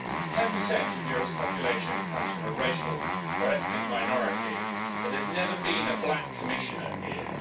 Ten percent of Europe's population comes from a racial or ethnic minority, but there's never been a black Commissioner here.